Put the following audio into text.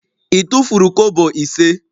I tufuru kobo ise?